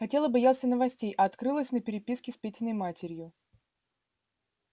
хотел и боялся новостей а открылось на переписке с петиной матерью